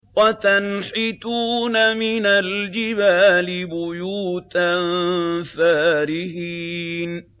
وَتَنْحِتُونَ مِنَ الْجِبَالِ بُيُوتًا فَارِهِينَ